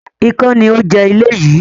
Ikán ni ó ń jẹ ilé yii